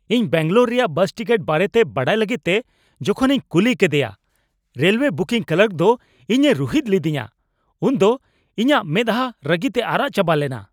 ᱤᱧ ᱵᱮᱹᱝᱜᱟᱞᱳᱨ ᱨᱮᱭᱟᱜ bus ticket ᱵᱟᱨᱮᱛᱮ ᱵᱟᱰᱟᱭ ᱞᱟᱹᱜᱤᱫ ᱛᱮ ᱡᱚᱠᱷᱚᱱ ᱤᱧ ᱠᱩᱞᱤ ᱠᱮᱫᱮᱭᱟ ᱨᱮᱞ ᱳᱭᱮ ᱵᱩᱠᱤᱝ ᱠᱞᱟᱨᱠ ᱫᱚ ᱤᱧ ᱮ ᱨᱩᱦᱮᱫ ᱞᱤᱫᱤᱧᱟ ᱩᱱᱫᱚ ᱤᱧᱟᱹᱜ ᱢᱮᱫᱼᱟᱦᱟ ᱨᱟᱹᱜᱤᱛᱮ ᱟᱨᱟᱜ ᱪᱟᱵᱟ ᱞᱮᱱᱟ ᱾